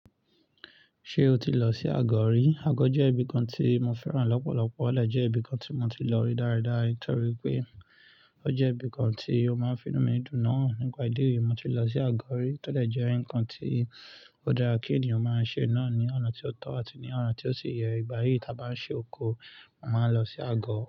Ṣé o ti lọ sí Àgọ́ rí? Àgọ́ jẹ́ ibìkan tí mo fẹ́ràn lọ́pọ̀lọ̀pọ̀, ó de jẹ́ ibìkan tí mo ti lọ rí dáradára nítorí pé ó jẹ́ ibìkan tí o máa ń fi inú mi dùn náà. Nípa ìdí èyí, mo ti lọ sí Àgọ́ rí, tọ́ de jẹ́ ǹkan tí ó dára kí ènìyàn máa ṣe náà ní ọ̀nà tí ó tọ́ àti ní ọ̀nà tí ó sì yẹ. Ìgbà yìí ta bá ń ṣe oko, mo màá n lọ sí agọ.